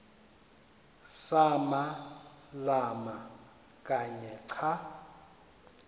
samalama kanye xa